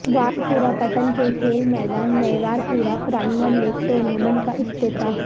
وار پورہ پٹن کے کھیل میدان میںوار پورہ پرائمر لیگ ٹورنامنٹ کا افتتاح